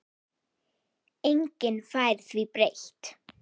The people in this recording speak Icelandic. Enginn fær því breytt.